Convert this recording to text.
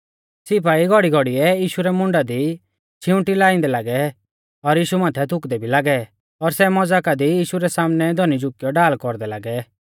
सिपाई घौड़ीघौड़ीयै यीशु मुंडा दी छिवांटी री लाइंदै लागै और यीशु माथै थुकदै भी लागै और सै मज़ाका दी यीशु रै सामनै धौनी झुकियौ ढाल कौरदै लागै